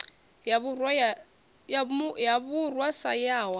ya vhurwa sa yaho hatha